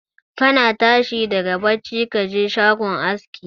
Kana tashi daga bacci ka je shagon aski